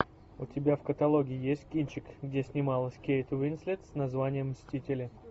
у тебя в каталоге есть кинчик где снималась кейт уинслет с названием мстители